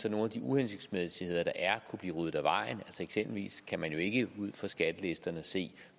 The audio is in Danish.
at nogle af de uhensigtsmæssigheder der er kunne blive ryddet af vejen eksempelvis kan man jo ikke ud fra skattelisterne se